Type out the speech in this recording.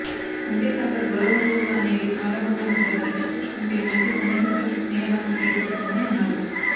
అంతేకాక గౌరవ మర్యాదలు అనేది ఆడ మగల మధ్య ఇచ్చి పుచ్చుకుంటే మంచి సన్నిహిత్యం స్నేహబంధం ఏర్పడుతుందని అన్నారు